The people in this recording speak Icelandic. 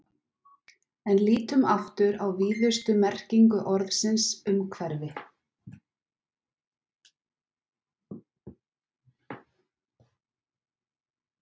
En lítum aftur á víðustu merkingu orðsins umhverfi.